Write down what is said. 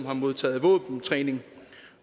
har modtaget våbentræning